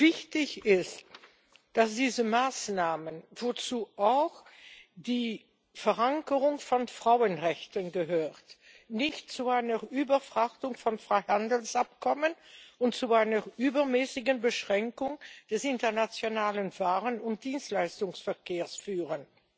Wichtig ist, dass diese Maßnahmen, wozu auch die Verankerung von Frauenrechten gehört, nicht zu einer Überfrachtung von Freihandelsabkommen und zu einer übermäßigen Beschränkung des internationalen Waren und Dienstleistungsverkehrs führen.